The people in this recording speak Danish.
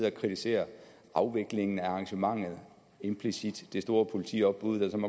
at kritisere afviklingen af arrangementet og implicit det store politiopbud som